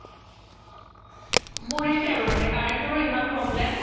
পৰিছে আৰু মানে current ত'ৰও ইমান problem